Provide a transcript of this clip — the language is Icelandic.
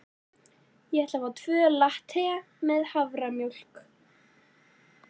Ég ætla að fá tvo latte með haframjólk.